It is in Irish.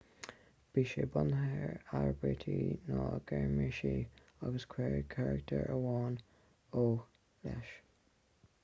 bhí sé bunaithe ar aibítir na gearmáinise agus cuireadh carachtar amháin õ/õ leis